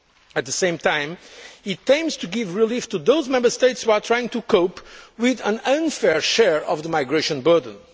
At the same time, the aim is to give relief to those Member States who are trying to cope with an unfair share of the migration burden.